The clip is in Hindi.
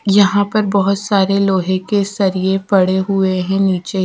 यहां पर बहुत सारे लोहे के सरिए पड़े हुए हैं नीचे।